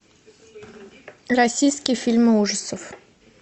российские фильмы ужасов